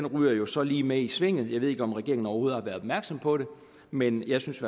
ryger jo så lige med i svinget jeg ved ikke om regeringen overhovedet har været opmærksom på det men jeg synes